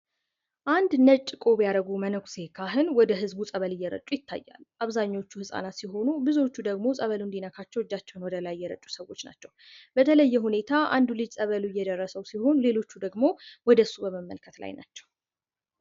አንድ ነጭ ቁብ ያደረጉ መነኩሴ ካህን ወደ ህዝቡ ፀበል እየጩ ይታያሉ። አብዛኞቹ ህጻናት ሲሆኑ ብዙዎቹ ደግሞ ፀበሉ እንዲነካቸው እጃቸውን ወደ ላይ የዘረጉ ሰዎች ናቸው። በተለየ ሁኔታ አንዱ ልጅ ፀበል እየደረሰው ሲሆን ሌሎቹ ደግሞ ወደሱ በመመልከት ላይ ናቸው።